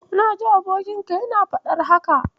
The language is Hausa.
Na ji abokinka yana faɗar haka.